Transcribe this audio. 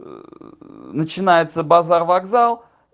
ээ начинается базар-вокзал